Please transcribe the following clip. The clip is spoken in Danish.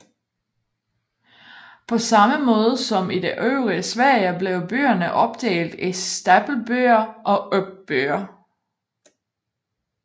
På samme måde som i det øvrige Sverige blev byerne opdelt i stapelbyer og uppbyer